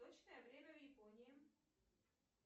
точное время в японии